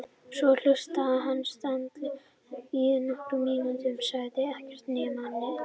Svo hlustaði hann stanslaust í nokkrar mínútur, sagði ekkert nema: Nei!